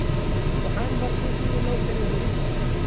Waxaan bartay sida loo kariyo bariiska.